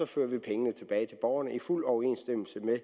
fører så pengene tilbage til borgerne i fuld overensstemmelse med